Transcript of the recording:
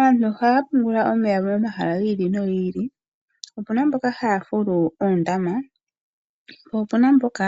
Aantu ohaya pungula omeya momahala gi ili nogi ili opena mboka haya fulu oondama po opena mboka